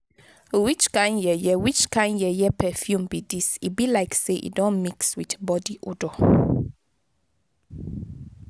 which kin yeye which kin yeye perfume be dis e be like say e don mix with body odor.